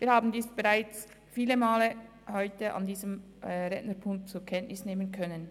Wir haben dies heute bereits viele Male zur Kenntnis nehmen können.